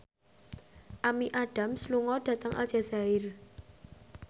Amy Adams lunga dhateng Aljazair